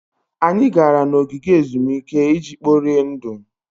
Anyị gara n'ogige ezumike iji kporie ndụ.